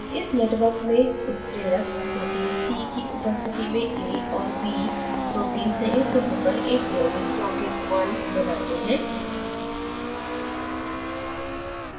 इस network में उत्प्रेरक protein c की उपस्थिति में a और b protein संयुक्त होकर एक यौगिक यौगिक1 बनाते हैं